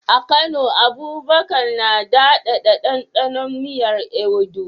A Kano, Abubakar na daɗaɗa ɗanɗanon miyar Ewedu.